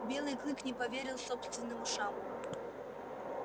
белый клык не поверил собственным ушам